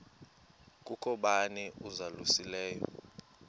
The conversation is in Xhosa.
kukho bani uzalusileyo